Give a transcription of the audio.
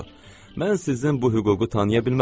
Mən sizin bu hüququ tanıya bilmərəm.